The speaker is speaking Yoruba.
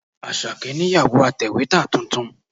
Àṣàkẹ́ nìyàwó atẹ̀wétà tuntun.